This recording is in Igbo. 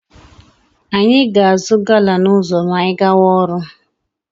Anyị ga-azụ gala n'ụzọ ma anyị gawa ọrụ.